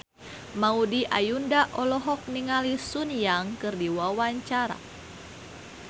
Maudy Ayunda olohok ningali Sun Yang keur diwawancara